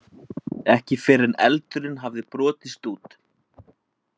Ekki fyrr en eldurinn hafði brotist út.